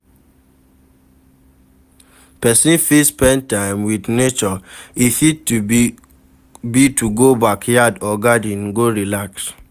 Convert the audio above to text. person fit spend time with nature,e fit be to go backyard or garden go relax